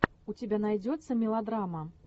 у тебя найдется мелодрама